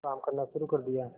काम करना शुरू कर दिया